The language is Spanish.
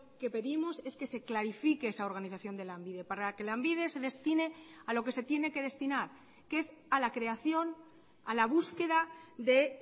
que pedimos es que se clarifique esa organización de lanbide para que lanbide se destine a lo que se tiene que destinar que es a la creación a la búsqueda de